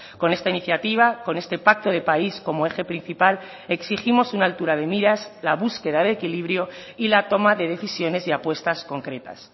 con esta iniciativa con este pacto de país como eje principal exigimos una altura de miras la búsqueda de equilibrio y la toma de decisiones y apuestas concretas